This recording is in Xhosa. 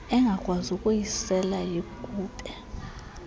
engakwazi ukuyisela yigube